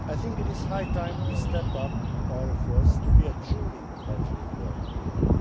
EU. It is high time we stepped up our efforts to be a truly multilingual Europe.